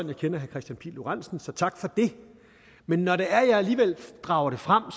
jeg kender herre kristian pihl lorentzen så tak for det men når jeg alligevel drager det frem